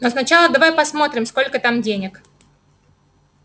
но сначала давай посмотрим сколько там денег